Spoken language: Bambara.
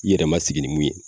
I yɛrɛ ma sigi ni mun ye